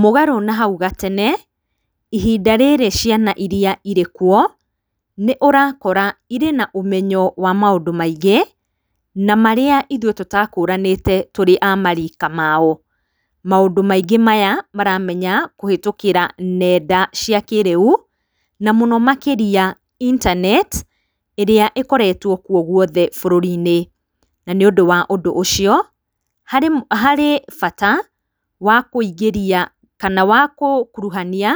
Mũgarũ na hau gatene ihinda rĩrĩ ciana irĩ kuo, nĩũrakora ĩrĩ naũmenyo wa maũndũ maingĩ na marĩa ithũĩ tũtakũranĩte tũrĩ amarika mao, maũndũ maingĩ maya maramenya kũhĩtũkĩra nenda cia kĩrĩu na mũno makĩrĩa intaneti ĩrĩa ĩkoretwe kũo gwothe bũrũrinĩ, na nĩũndũ wa ũndũ ũcio harĩ bata wa kũingĩria kana wa kũrungania